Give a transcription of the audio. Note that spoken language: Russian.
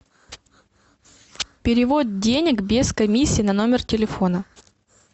перевод денег без комиссии на номер телефона